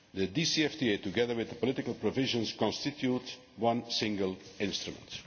The DCFTA, together with the political provisions, constitute one single instrument.